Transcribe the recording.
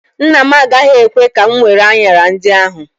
Nna m agaghị ekwe ka m were anyara ndị ahụ.